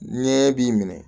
Ɲɛ b'i minɛ